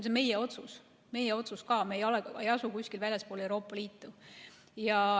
See on meie otsus ka, meie ei asu kuskil väljaspool Euroopa Liitu.